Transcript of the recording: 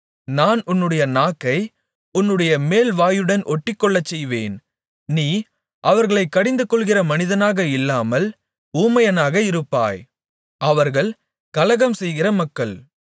நான் உன்னுடைய நாக்கை உன்னுடைய மேல்வாயுடன் ஒட்டிக்கொள்ளச்செய்வேன் நீ அவர்களைக் கடிந்து கொள்ளுகிற மனிதனாக இல்லாமல் ஊமையனாக இருப்பாய் அவர்கள் கலகம்செய்கிற மக்கள்